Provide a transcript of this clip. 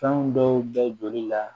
Fɛn dɔw bɛ joli la